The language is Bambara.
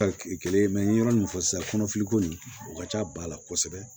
kelen n ye yɔrɔ min fɔ sisan kɔnɔfili ko nin o ka ca ba la kosɛbɛ